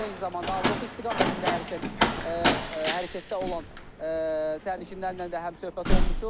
Eyni zamanda Avropa istiqamətində hərəkət hərəkətdə olan sərnişinlərlə də həmsöhbət olmuşuq.